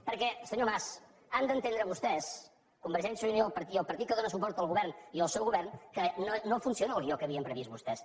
perquè senyor mas han d’entendre vostès convergència i unió i el partit que dóna suport al govern i el seu govern que no funciona el guió que havien previst vostès